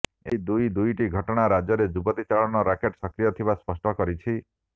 ଏହି ଦୁଇ ଦୁଇଟି ଘଟଣା ରାଜ୍ୟରେ ଯୁବତୀ ଚାଲାଣ ରାକେଟ ସକ୍ରିୟ ଥିବା ସ୍ପଷ୍ଟ କରିଛି